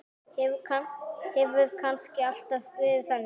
Hefur kannski alltaf verið þannig?